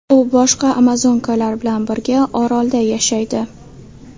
U boshqa amazonkalar bilan birga orolda yashaydi.